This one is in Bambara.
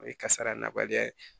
O ye kasara nabaliya ye